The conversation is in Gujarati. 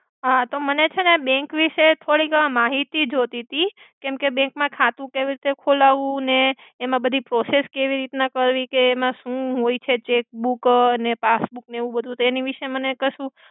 હા તો મને છેને બેંક વિસે ફરિ વાર માહિતિ જોતિતિ કેમ્કે બેંક મા ખાતુ કેવિ રિતે ખોલાવવુ ને એમા બધી પ્રોસેસ કેવિ રિતના કરવી તેમા સુ હોય છે, ચેકબૂક ને પાસ્બૂક ને એવુબધુ તો એનિ વિસે મને કસુ.